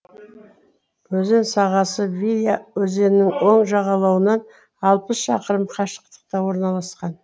өзен сағасы выя өзенінің оң жағалауынан алпыс шақырым қашықтықта орналасқан